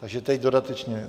Takže teď dodatečně.